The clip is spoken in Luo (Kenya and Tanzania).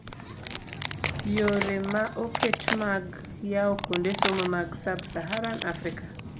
Yore ma oket mag yawo kuonde somo mag sub-saharan Africa.